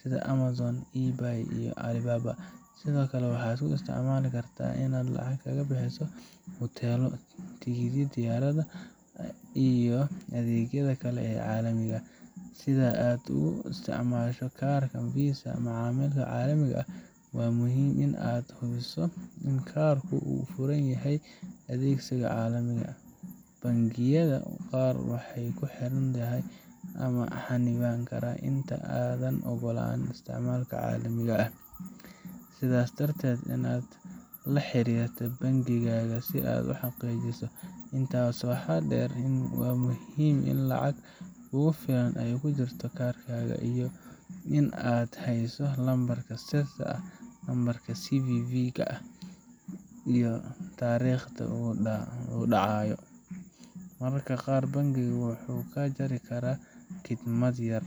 sida Amazon, eBay, iyo Alibaba. Sidoo kale, waxaad u isticmaali kartaa inaad lacag kaga bixiso hoteello, tikidhada diyaaradaha, iyo adeegyada kale ee caalamiga ah. Si aad ugu isticmaasho kaarkaaga Visa macaamilka caalamiga ah, waa muhiim in aad hubiso in kaarku uu furan yahay adeegsiga caalamka. Bangiyada qaar waxay ku xiraan xad ama xannibaan kaarka inta aanad oggolaan isticmaal caalami ah, sidaas darteed waa inaad la xiriirtaa bangigaaga si aad u xaqiijiso. Intaa waxaa dheer, waxaa muhiim ah in lacag kugu filan ay ku jirto kaarkaaga, iyo in aad hayso lambarka sirta ah, nambarka CVV ga, iyo taariikhda uu dhacayo. Mararka qaar, bangigu wuxuu kaa jari karaa khidmad yar